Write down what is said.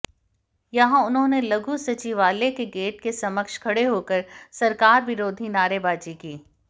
यहां उन्होंने लघु सचिवालय के गेट के समक्ष खड़े होकर सरकार विरोधी नारेबाजी की